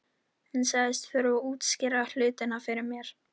Hann sagðist þurfa að útskýra hlutina fyrir mér.